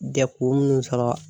Jɛkulu munnu sɔrɔ.